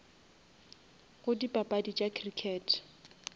go dipapadi tša crickete